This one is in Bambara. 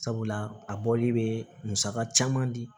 Sabula a bɔli bɛ musaka caman di